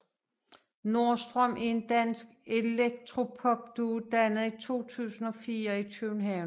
Nordstrøm er en dansk elektropopduo dannet i 2004 i København